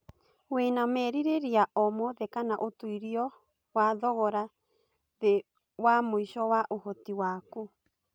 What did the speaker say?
wĩna merira o mothe kana ũtũiro wa thogora thi wa mũĩco wa ũhoti waku